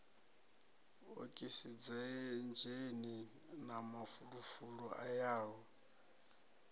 okisidzheni na mafulufulu a yaho